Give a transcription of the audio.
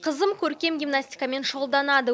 қызым көркем гимнастикамен шұғылданады